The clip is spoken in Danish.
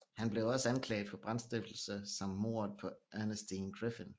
Han blev også anklaget for brandstiftelse samt mordet på Ernestine Griffin